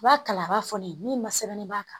I b'a kala a b'a fɔ ne ye min ma sɛbɛnni b'a kan